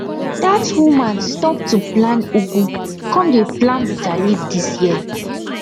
dat woman stop to plant ugu come dey plant bitter leaf this year